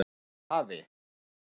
Eins og afi.